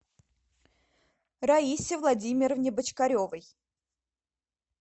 раисе владимировне бочкаревой